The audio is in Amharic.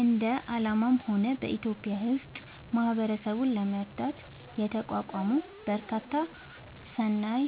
እንደ አለምም ሆነ በኢትዮጵያ ውስጥ ማህበረሰብን ለመርዳት የተቋቋሙ በጣም በርካታ ሰናይ